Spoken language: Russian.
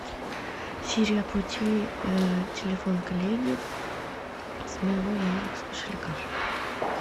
сири оплати телефон коллеги с моего яндекс кошелька